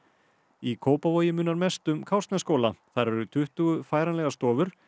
í Kópavogi munar mest um Kársnesskóla þar eru tuttugu færanlegar stofur